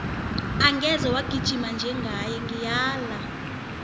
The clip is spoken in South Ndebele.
angeze wagijima njengaye ngiyala